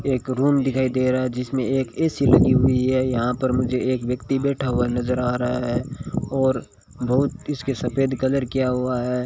एक रूम दिखाई दे रहा है जिसमें एक ए_सी लगी हुई है यहां पर मुझे एक व्यक्ति बैठा हुआ नजर आ रहा है और बहुत इसके सफेद कलर किया हुआ है।